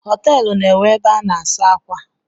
Họteelụ na enwe ebe a na-asa ákwà